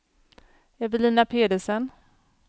Evelina Pedersen